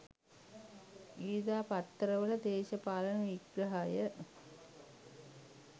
ඉරිදා පත්තරවල දේශපාලන විග්‍රහය